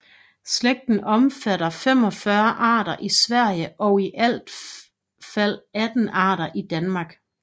Slægten omfatter 45 arter i Sverige og i alt fald 18 arter i Danmark